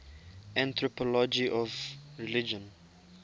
anthropology of religion